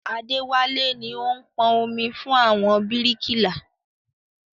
Adéwálé ni ó ń pọn omi fún àwọn bíríkìlà